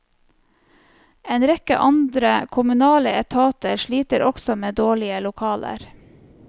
En rekke andre kommunale etater sliter også med dårlige lokaler.